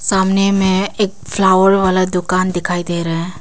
सामने में एक फ्लावर वाला दुकान दिखाई दे रहा है।